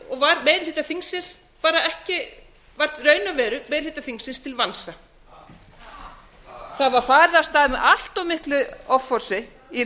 og var meiri hluta þingsins í raun og veru meiri hluta þingsins til vansa það var farið af stað með allt miklu offorsi í